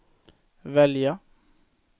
välja